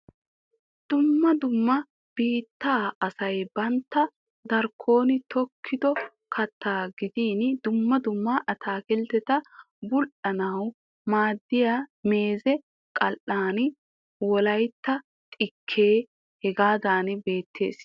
Dumma dumma biittaa asay bantta darkkon tokkido kattaa gidin dumma dumma ataakiltteta bul"anawu maaddiya meeze qaalan wolaytta xikkee hagan beettees.